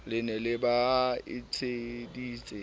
le ne le ba etseditse